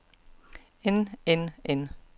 end end end